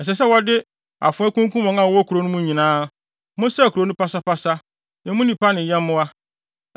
ɛsɛ sɛ wɔde afoa kunkum wɔn a wɔwɔ kurow no mu nyinaa. Monsɛe kurow no pasapasa, emu nnipa ne nyɛmmoa.